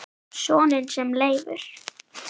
Soninn sem Leifur